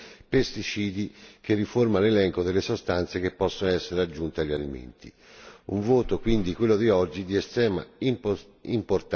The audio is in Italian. Un quadro che prevede tenori massimi e divieti per l'uso di taluni pesticidi che riforma l'elenco delle sostanze che possono essere aggiunte agli alimenti.